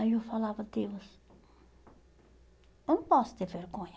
Aí eu falava, Deus, eu não posso ter vergonha.